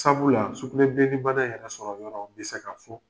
Sabula, sugunɛbileni bana yɛrɛ sɔrɔ yɔrɔ bɛ se ka fɔ.